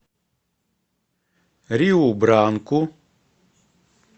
риу бранку